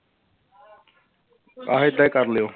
ਆਹੋ ਏਦਾਂ ਹੀ ਕਰ ਲਇਓ।